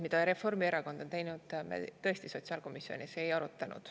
Mida Reformierakond on teinud, me tõesti sotsiaalkomisjonis ei arutanud.